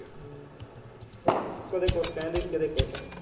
ਕਦੇ ਕੁਛ ਕਹਿ ਦਿੰਦੇ ਸੀ ਕਦੇ ਕੁਛ।